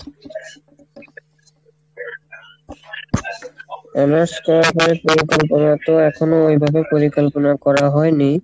honors করার পরে পরে তারপরে তো এখনো ওইভাবে পরিকল্পনা করা হয়নি,